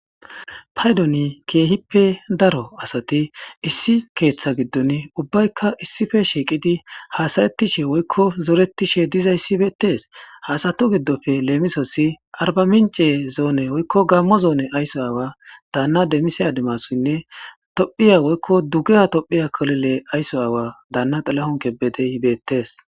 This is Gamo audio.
Paydoni kehippe daro asati issi keetha gidoni ubbayka issippe shiqidi hasayetishe woyko zoretishe dizaysi betees. Ha asatu gidoppe lemisos Arba minc'e ayso aawa dana Damise Adimasuynne dugeha tophiya ayso aawa dana xilahon kebedey beetes.